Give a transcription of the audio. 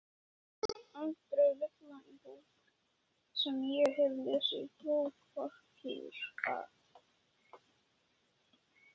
Aldrei villa í bók sem ég hef lesið prófarkir að.